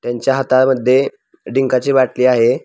त्यांच्या हातामध्ये डींका ची बाटली आहे.